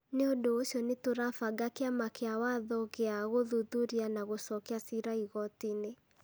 Nĩ ũndũ ũcio, nĩ tũrabanga kĩama gĩa watho gĩa gũthuthuria na gũcokia ciira igoti-nĩ.